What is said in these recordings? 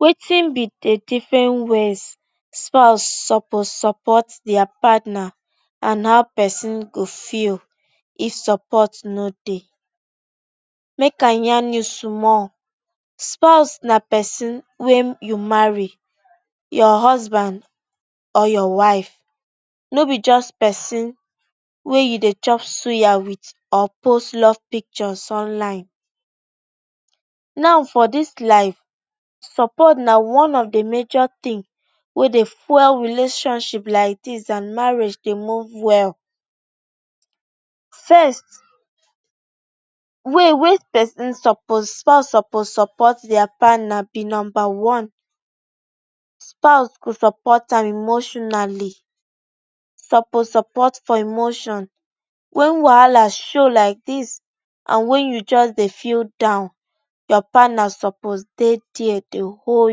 Wetin be de different ways spouse suppose support dia partner and how pesin go feel if support no dey? Mek I yarn you small. Spouse na pesin wey you marry, your husband or your wife, no be just pesin wey you dey chop suya with or post love pictures online. Now, for dis life, support na one of de major tin wey dey fuel relationship like dis and marriage dey move well. First, way wey pesin suppose, spouse suppose support support dia partner be number one, spouse go support am emotionally, suppose support for emotion. When wahala show like dis, and when you just dey feel down, your partner suppose dey there dey hold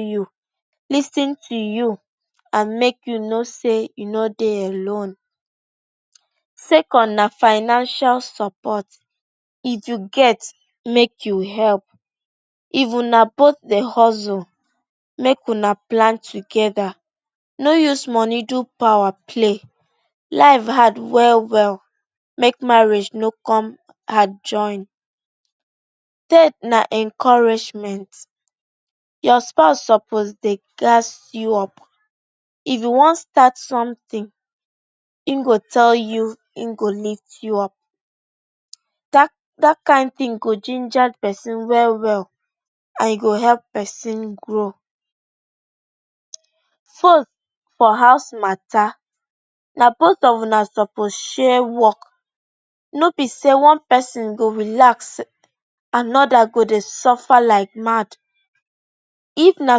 you, lis ten to you and mek you know say you no dey alone. Second, na financial support. If you get, mek you help, if una both dey hustle, mek una plan together. No use money do power play, life hard well, well, mek marriage no come hard join. Third, na encouragement, your spouse suppose dey gas you up. If you wan start sometin, im go tell you im go lift you up. Dat, dat kind tin go ginger pesin well, well and e go help pesin grow. Fourth, for house mata, na both of una suppose share work. No be say one pesin go relax, another go dey suffer like mad. If na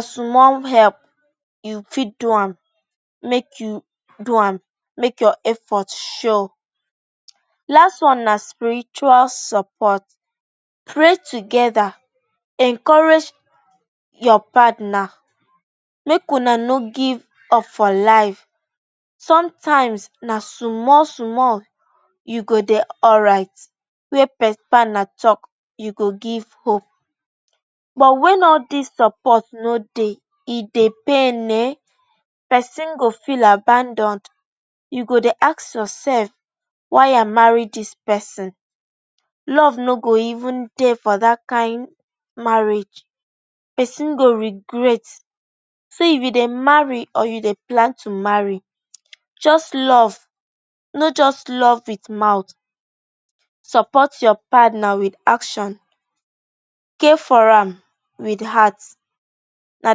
small help you fit do am, mek you do am, mek your effort show. Last one na spiritual support. Pray together, encourage your partner, mek una no give up for life. Sometimes, na small, small you go dey alright. When all dis support no dey, e dey pain um pesin, go feel abandoned. You go dey ask yourself why I marry dis pesin. Love no go even dey for dat kind marriage. Pesin go regret. See, if you dey marry, or you dey plan to marry, just love, no just love with mouth, support your partner with action, care for am with heart, na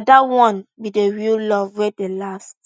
dat one be de real love wey dey last.